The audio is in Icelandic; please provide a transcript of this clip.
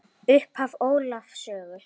Upphaf Ólafs sögu helga.